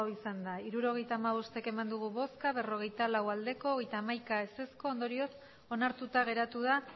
botoak hirurogeita hamabost bai berrogeita lau ez hogeita hamaika ondorioz onartuta geratu da